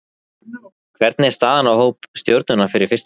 Hvernig er staðan á hópi Stjörnunnar fyrir fyrsta leik?